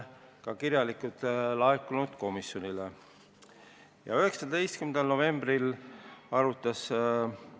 Ettepanekuid on komisjonile ka kirjalikult esitatud.